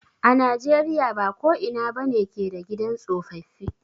A na jeriya ba ko ina ba ne ke da gidan tsofaffi.